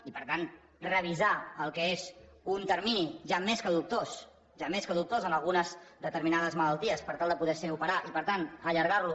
i per tant revisar el que és un termini ja més que dubtós ja més que dubtós en algunes determinades malalties per tal de poder ser operat i per tant allargar lo